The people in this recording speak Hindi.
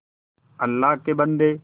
अल्लाह के बन्दे